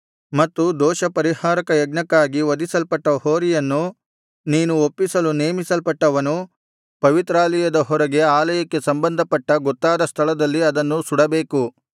ಮತ್ತು ದೋಷ ಪರಿಹಾರಕಯಜ್ಞಕ್ಕಾಗಿ ವಧಿಸಲ್ಪಟ್ಟ ಹೋರಿಯನ್ನು ನೀನು ಒಪ್ಪಿಸಲು ನೇಮಿಸಲ್ಪಟ್ಟವನು ಪವಿತ್ರಾಲಯದ ಹೊರಗೆ ಆಲಯಕ್ಕೆ ಸಂಬಂಧಪಟ್ಟ ಗೊತ್ತಾದ ಸ್ಥಳದಲ್ಲಿ ಅದನ್ನು ಸುಡಬೇಕು